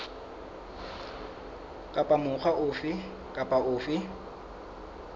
kapa mokga ofe kapa ofe